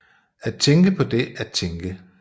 At tænke på det at tænke